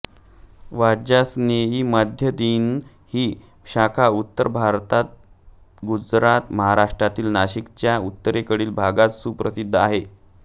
वाजसनेयी माध्यंदिन ही शाखा उत्तर भारत गुजरात महाराष्ट्रातील नाशिकच्या उत्तरेकडील भागात प्रसिद्ध आहे